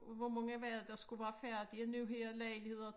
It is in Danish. Hvor mange var det der skulle være færdige nu her lejligheder